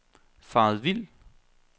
faret vild